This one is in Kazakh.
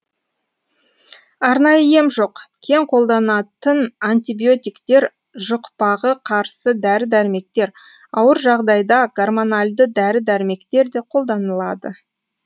арнайы ем жоқ кең қолданатын антибиотиктер жұқпағы қарсы дәрі дәрмектер ауыр жағдайда гормональді дәрі дәрмектер де қолданылады